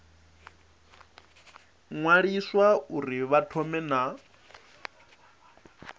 ṅwaliswa uri vha thome na